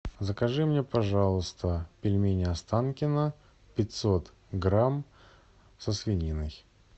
закажи мне пожалуйста пельмени останкино пятьсот грамм со свининой